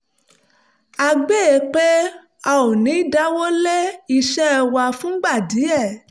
a gbà pé a ò ní dáwọ́ lé iṣẹ́ wa fúngbà díẹ̀